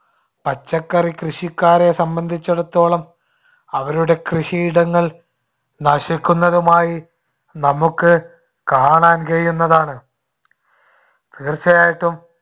പച്ചക്കറി കൃഷിക്കാരെ സംബന്ധിച്ചിടത്തോളം, അവരുടെ കൃഷിയിടങ്ങൾ നശിക്കുന്നതുമായി നമുക്ക് കാണാൻ കഴിയുന്നതാണ്. തീര്‍ച്ചയായിട്ടും